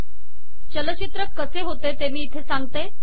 चलचित्र कसे होतो ते मी इथे सांगते